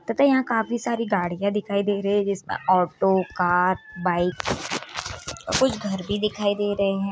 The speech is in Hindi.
तथा यहाँ काफी सारी गाड़ियां दिखाई दे रही है जिस में ऑटो कार बाइक और कुछ घर भी दिखाई दे रहे हैं।